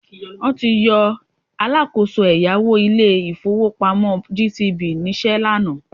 Wọ́n ti yọ alákọ̀ọ́so ẹ̀yáwó ilé-ìfowópamọ́ GTB níṣẹ́ lánàá